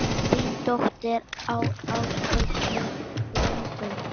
Þín dóttir, Ásdís Ingunn.